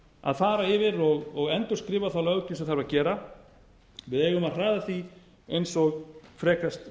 að fara yfir og endurskrifa þá löggjöf sem þarf að gera við eigum að hraða því eins og frekast